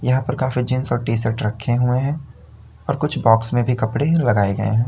यहां पर काफी जीन्स और टी शर्ट रखे हुए हैं और कुछ बॉक्स में भी कपड़े लगाए गये है।